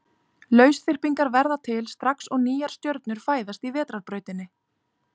Lausþyrpingar verða til strax og nýjar stjörnur fæðast í Vetrarbrautinni.